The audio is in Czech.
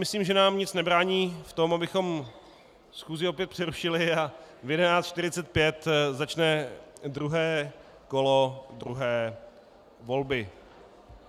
Myslím, že nám nic nebrání v tom, abychom schůzi opět přerušili, a v 11.45 začne druhé kolo druhé volby.